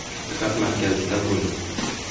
Diqqat markazida bo‘ling!